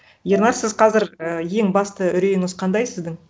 ернар сіз қазір і ең басты үрейіңіз қандай сіздің